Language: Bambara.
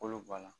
Kolo bɔ a la